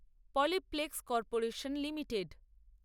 Polyplex Corporation limited